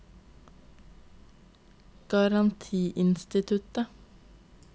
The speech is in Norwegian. garantiinstituttet